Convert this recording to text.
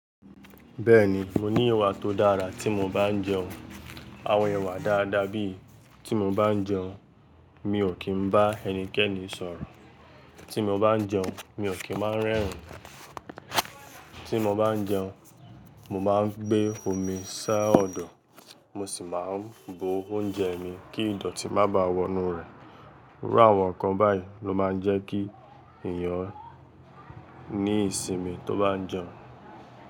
Bẹ́ẹ̀ni, mo ní ìwà tó dára tí mo bá ń jẹun. Àwọn ìwà dáadáa bíi tí mo bá ń jẹun, mi ò kí ń bá ẹnikẹ́ni sọ̀rọ̀. Tí mo bá ń jẹun, mi ò kí máa ń rẹ́rìn. Tí mo bá ń jẹun, mo máa ń gbé omi sá ọ̀dọ̀, mo sì máa ń bu oúnjẹ mi kí ìdọ̀tí má báà wọnú rẹ̀. Irú àwọn nǹkan báyìí ló máa ń jẹ́ kí èèyàn ní ìsinmi tó bá ń jẹun.